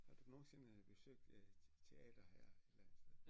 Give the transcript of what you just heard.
Har du nogensinde besøgt et teater her et eller andet sted